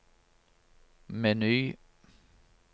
meny